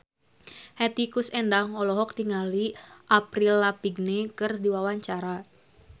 Hetty Koes Endang olohok ningali Avril Lavigne keur diwawancara